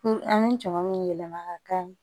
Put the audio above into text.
an bɛ jama min yɛlɛma ka kɛ